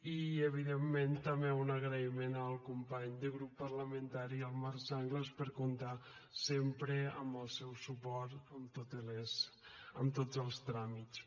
i evidentment també un agraïment al company de grup parlamentari el marc sanglas per comptar sempre amb el seu suport en tots els tràmits